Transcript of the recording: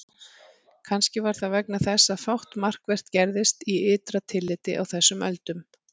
Kannski var það vegna þess að fátt markvert gerðist í ytra tilliti á þessum öldum.